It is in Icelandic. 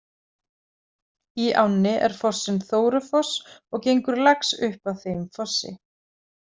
Í ánni er fossinn Þórufoss og gengur lax upp að þeim fossi.